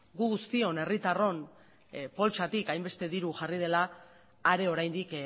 gu guztion herritarron poltsatik hainbeste diru jarri dela are oraindik